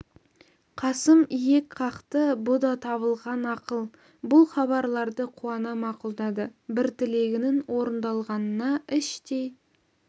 қасым иек қақты бұ да табылған ақыл бұл хабарларды қуана мақұлдады бір тілегінің орындалғанына іштей